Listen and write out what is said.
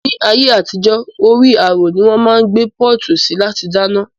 Ni ayé àtijó, orí àrò ni wón máa ń gbé pọ́ọ̀tù sí láti dáná